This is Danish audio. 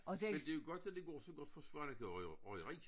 Men det jo godt at det går så godt for Svaneke røg Røgeri